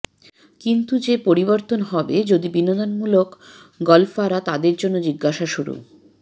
কিন্তু যে পরিবর্তন হবে যদি বিনোদনমূলক গল্ফাররা তাদের জন্য জিজ্ঞাসা শুরু